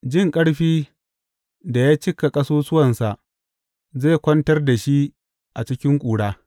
Jin ƙarfi da ya cika ƙasusuwansa zai kwantar da shi a cikin ƙura.